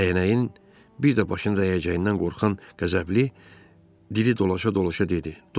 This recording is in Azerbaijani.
Dəyənəyin bir də başına dəyəcəyindən qorxan qəzəbli diri dolaşa-dolaşa dedi.